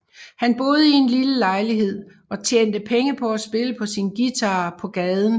Han boede i en lille lejlighed og tjente penge på at spille på sin guitar på gaden